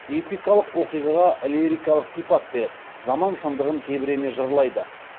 эпикалық оқиғаға лирикалық сипат беріп заман шындығын тебірене жырлайды